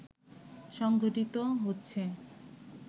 সংঘটিত হচ্ছে